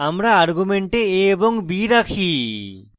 আমরা arguments a এবং b রাখি